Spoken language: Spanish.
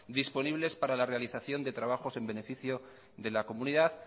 disponibles para la realización de trabajos en beneficio de la comunidad